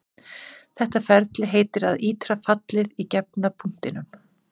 Þetta ferli heitir að ítra fallið í gefna punktinum.